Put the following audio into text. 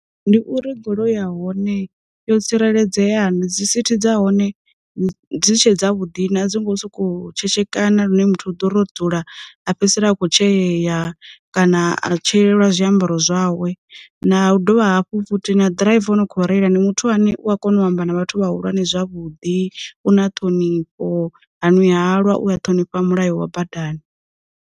Ndi uri goloi ya hone yo tsireledzea na, dzi sithi dza hone dzi tshe dza vhuḓi na a dzi ngo sokou tshetshekana lune muthu u ḓo ro dzula a fhedzisela a kho tsheyeya kana a tsheeliwa zwiambaro zwawe. Na u dovha hafhu futhi na ḓiraiva a no kho reila ndi muthu ane u a kona u amba na vhathu vha hulwane zwavhuḓi, u na ṱhonifho, ha ṅwi halwa uya ṱhonifha mulayo wa badani.